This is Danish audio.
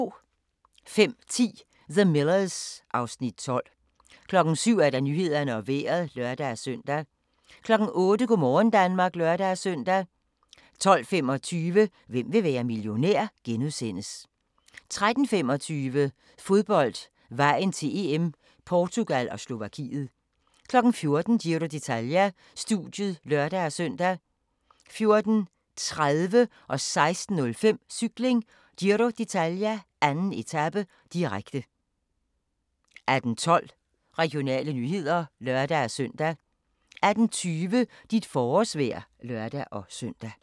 05:10: The Millers (Afs. 12) 07:00: Nyhederne og Vejret (lør-søn) 08:00: Go' morgen Danmark (lør-søn) 12:25: Hvem vil være millionær? * 13:25: Fodbold: Vejen til EM - Portugal og Slovakiet 14:00: Giro d'Italia: Studiet (lør-søn) 14:30: Cykling: Giro d'Italia - 2. etape, direkte 16:05: Cykling: Giro d'Italia - 2. etape, direkte 18:12: Regionale nyheder (lør-søn) 18:20: Dit forårsvejr (lør-søn)